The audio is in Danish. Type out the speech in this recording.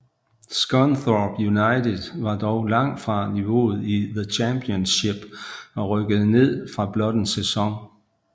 Scunthorpe United var dog langt fra niveauet i The Championship og rykkede ned efter blot en sæson